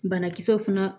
Banakisɛw fana